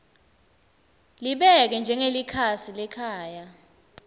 libeke njengelikhasi lekhaya